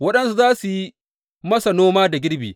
Waɗansu za su yi masa noma da girbi.